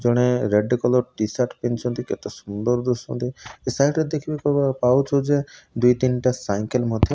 ଜଣେ red collar T shirt ପିନ୍ଧିଛନ୍ତି କେତେ ସୁନ୍ଦର ଦୁଶୁଛନ୍ତି ସାଇଡ୍ ରେ ଦେଖିବାକୁ ପାଉଚୁ ଯେ ଦୁଇ ତିନିଟା ସାଇକଲ ମଧ୍ୟ --